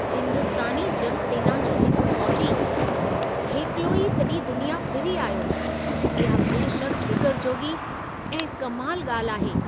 हिंदुस्तानी जल सेना जो हिकु फ़ौजी हेकिलो ई सॼी दुनिया फिरी आयो! इहा बेशकि ज़िक्र जोॻी ऐं कमाल ॻाल्हि आहे।